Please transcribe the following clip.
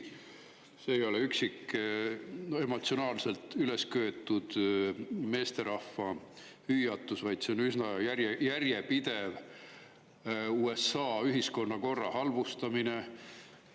Ja see ei ole üksik, emotsionaalselt üles köetud meesterahva hüüatus, vaid see on üsna järjepidev USA ühiskonnakorra halvustamine.